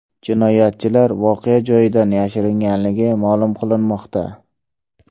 Jinoyatchilar voqea joyidan yashiringanligi ma’lum qilinmoqda.